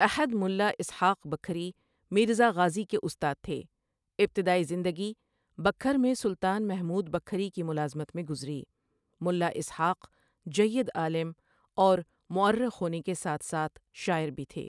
احد مُلا اسحٰاق بکھری میرزا غازی کے استاد تھے، ابتدائی زندگی بکھر میں سلطان محمود بکھری کی ملازمت میں گذری ملا اسحٰاق جید عالم اور مورخ ہونے کے ساتھ ساتھ شاعر بھی تھے ۔